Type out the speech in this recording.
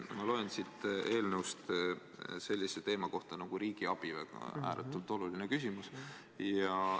Ma loen siit eelnõust sellise teema kohta nagu riigiabi – ääretult oluline küsimus.